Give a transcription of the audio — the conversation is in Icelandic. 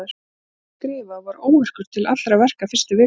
Ég gat varla skrifað og var óvirkur til allra verka fyrstu vikuna.